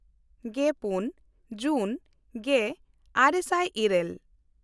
ᱜᱮᱼᱯᱩᱱ ᱡᱩᱱ ᱜᱮᱼᱟᱨᱮ ᱥᱟᱭ ᱤᱨᱟᱹᱞ